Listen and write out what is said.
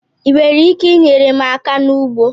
Ị nwere ike inyere m aka n'ugbo?